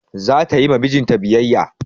Za ta yi ma mijin ta biyayya.